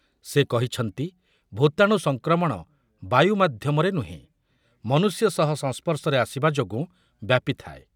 ସେ କହିଛନ୍ତି, ଭୂତାଣୁ ସଂକ୍ରମଣ ବାୟୁ ମାଧ୍ୟମରେ ନୁହେଁ, ମନୁଷ୍ୟ ସହ ସଂସ୍ପର୍ଶରେ ଆସିବା ଯୋଗୁଁ ବ୍ୟାପିଥାଏ ।